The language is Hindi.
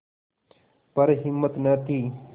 पर हिम्मत न थी